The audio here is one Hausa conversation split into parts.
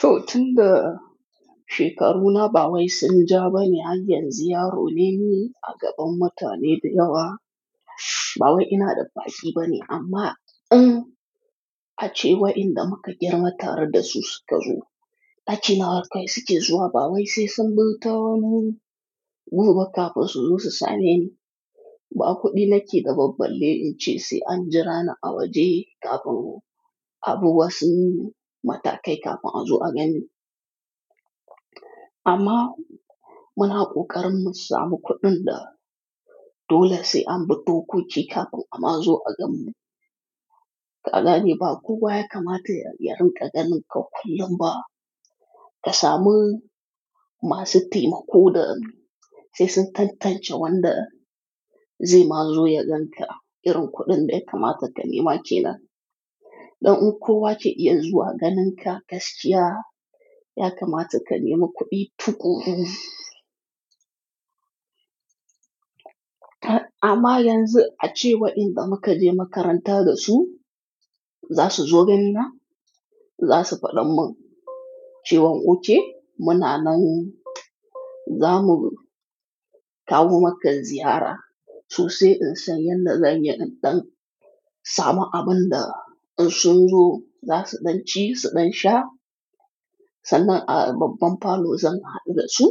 To tun da shekaruna ba wai sun ja ba ne, har yanzu yaro ne ni a gaban mutane da yawa. Ba wai ina da fashi ba ne amma in a ce wa in da muka girma tare da su suka zo ɗakina har kai suke zuwa ba wai sai sun buɗe tawo mun gudu bakafa su zo su same ni. Ba kuɗi nake da ba balle in ce sai an jira na a waje kafin abu wasu matakai kafin a zo a gani. Amma muna ƙoƙarin mu sa mu kuɗin da dole sai an bi dokoki kafin a ma zo a gani. Ka gane ba kuwa ya kamata ya riƙa ganin ka kullum ba ka samu masu taimako da sai sun tantance wanda zai ma zo ya gan ka irin kuɗin da ya kamata ka nema ke nan. Don in kuwa ke iya zuwa ganin ka gaskiya ya kamata ka nema kuɗi tukuru. Amma yanzu a ce wa in da muka je makaranta da su za su zo ganina, za su faɗa mun cewan OK muna nan za mu kawo maka ziyara su sai in san yadda zan yanɗan samu abin da in sun zo za su ɗan ci su ɗan sha sannan a babban falo zan haɗu da su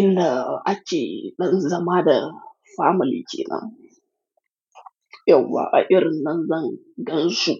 inda ake ɗan zama da family kenan, yauwa a irin nan zan gansu.